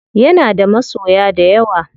Yana da masoya dayawa.